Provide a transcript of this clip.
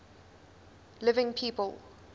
living people